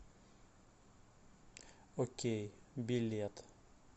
окей билет